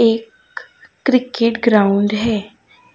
एक cricket ground है।